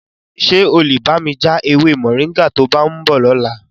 Ṣé o lè bá mi ja ewé Moringa to bá ń bọ̀ lọ́la?